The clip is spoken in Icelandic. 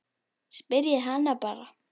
Spyrjið hana bara.